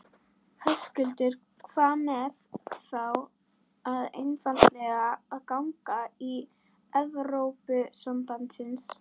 Höskuldur: Hvað með þá bara einfaldlega að ganga í Evrópusambandsins?